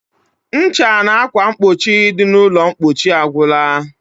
Ncha na akwamkpochi dị n'ụlọmkpochi agwụla